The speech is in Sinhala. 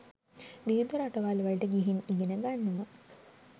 විවිධ රටවල්වලට ගිහින් ඉගෙන ගන්නවා.